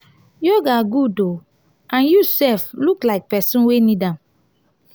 yoga good oo and you sef look like person wey need am.